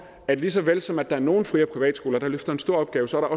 at lige så vel som der er nogle fri og privatskoler der løfter en stor opgave så er